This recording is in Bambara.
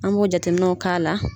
An b'o jateminɛnw ka la